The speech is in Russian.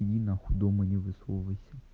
иди нахуй дома не высовывайся